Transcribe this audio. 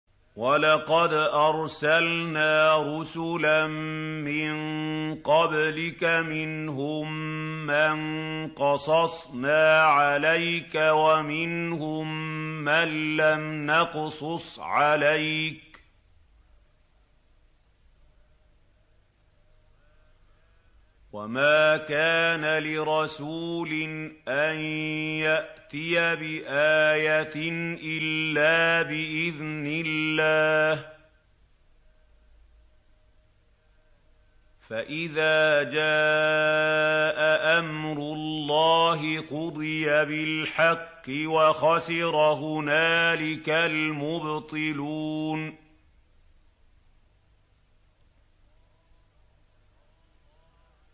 وَلَقَدْ أَرْسَلْنَا رُسُلًا مِّن قَبْلِكَ مِنْهُم مَّن قَصَصْنَا عَلَيْكَ وَمِنْهُم مَّن لَّمْ نَقْصُصْ عَلَيْكَ ۗ وَمَا كَانَ لِرَسُولٍ أَن يَأْتِيَ بِآيَةٍ إِلَّا بِإِذْنِ اللَّهِ ۚ فَإِذَا جَاءَ أَمْرُ اللَّهِ قُضِيَ بِالْحَقِّ وَخَسِرَ هُنَالِكَ الْمُبْطِلُونَ